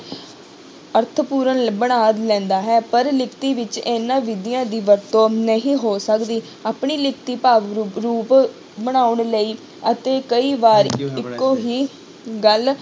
ਅਰਥਪੂਰਨ ਬਣਾ ਲੈਂਦਾ ਹੈ ਪਰ ਲਿਖਤੀ ਵਿੱਚ ਇਹਨਾਂ ਵਿਧੀਆਂ ਦੀ ਵਰਤੋਂ ਨਹੀਂ ਹੋ ਸਕਦੀ, ਆਪਣੀ ਲਿਖਤੀ ਭਾਵ ਰੂ~ ਰੂਪ ਬਣਾਉਣ ਲਈ ਅਤੇ ਕਈ ਵਾਰ ਇੱਕੋ ਹੀ ਗੱਲ